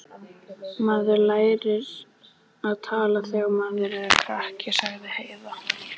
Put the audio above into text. Maður lærir að tala þegar maður er krakki, sagði Heiða.